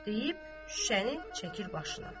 Deyib şüşəni çəkir başına.